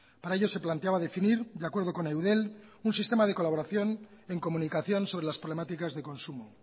para ello se planteaba definir de acuerdo con eudel un sistema de colaboración en comunicación sobre las problemáticas de consumo